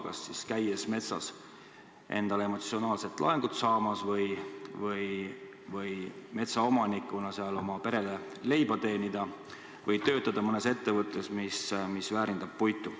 Kas siis käiakse metsas emotsionaalset laengut saamas või soovitakse metsaomanikuna seal oma perele leiba teenida või töötada mõnes ettevõttes, mis väärindab puitu.